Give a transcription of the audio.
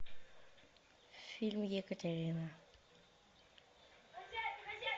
фильм екатерина